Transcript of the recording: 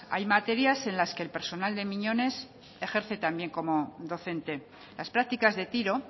hay materias en las que el personal de miñones ejerce también como docente las prácticas de tiro